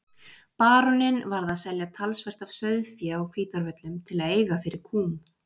Baróninn varð að selja talsvert af sauðfé á Hvítárvöllum til að eiga fyrir kúm.